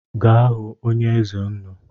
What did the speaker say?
Gaa hụ onye eze nnu